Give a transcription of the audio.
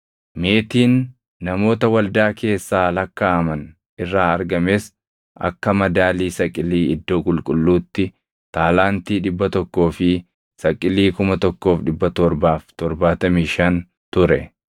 Meetiin namoota waldaa keessaa lakkaaʼaman irraa argames akka madaalii saqilii iddoo qulqulluutti taalaantii 100 fi saqilii 1,775 ture.